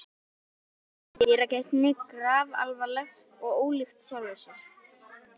Andlitið á Tóta birtist í dyragættinni grafalvarlegt og ólíkt sjálfu sér.